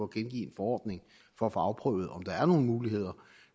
gengive en forordning for at få afprøvet om der er nogle muligheder